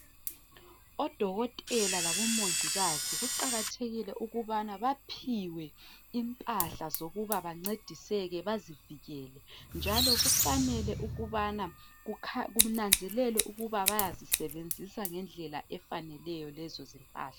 Odokotela labomongikazi kuqakathekile ukubana baphiwe impahla zokuba bancediseke bazivikele njalo kufanele kunanzelwe ukuba bayazisebenzisa ngendlela efaneleyo lezo zimpahla.